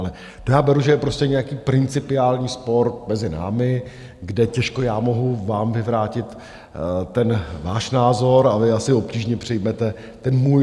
Ale to já beru, že je prostě nějaký principiální spor mezi námi, kde těžko já mohu vám vyvrátit ten váš názor a vy asi obtížně přijmete ten můj.